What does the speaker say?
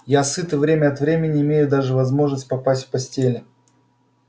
я сыт и время от времени имею даже возможность поспать в постели